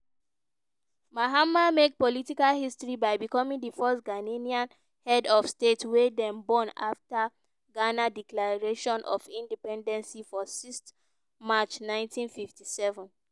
mahama make political history by becoming di first ghanaian head of state wey dem born afta ghana declaration of independency for sixth march nineteen fifty seven.